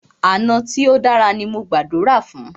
Àná tí o dára ní mo gbàdúrà fún.